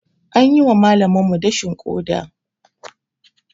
An yi wa malaminmu dashin ƙoda.